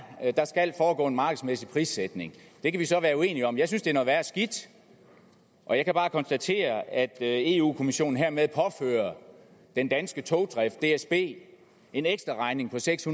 at der skal foregå en markedsmæssig prissætning det kan vi så være uenige om jeg synes det er noget værre skidt og jeg kan bare konstatere at eu kommissionen hermed påfører den danske togdrift dsb en ekstra regning på seks